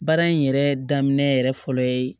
Baara in yɛrɛ daminɛ yɛrɛ fɔlɔ ye